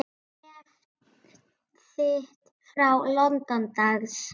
Bréf þitt frá London, dags.